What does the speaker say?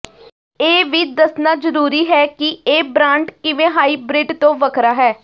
ਇਹ ਵੀ ਦੱਸਣਾ ਜ਼ਰੂਰੀ ਹੈ ਕਿ ਇਹ ਬ੍ਰਾਂਡ ਕਿਵੇਂ ਹਾਈਬ੍ਰਿਡ ਤੋਂ ਵੱਖਰਾ ਹੈ